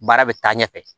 Baara bɛ taa ɲɛ fɛ